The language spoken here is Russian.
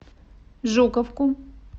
жуковку